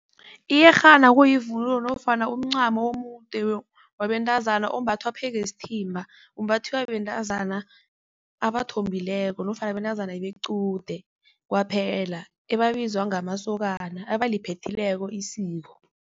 Iyerhana kuyivunulo nofana umncamo omude wabentazana ombathwa phezu kwesithimba. Umbathiwa bentazana abathombileko nofana bentazana bequde kwaphela ababizwa ngamasokana, abaliphethileko isiko.